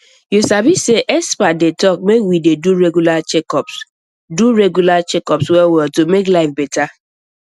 you sabi say experts dey talk make we dey do regular checkups do regular checkups wellwell to make life better